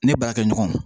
Ne baarakɛ ɲɔgɔnw